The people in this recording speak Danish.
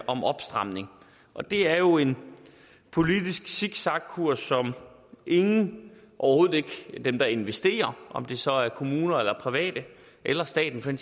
om opstramning og det er jo en politisk zigzagkurs som ingen overhovedet ikke dem der investerer om det så er kommuner eller private eller staten for